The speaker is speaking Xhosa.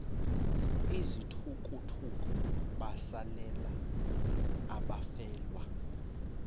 izithukuthuku besalela abafelwa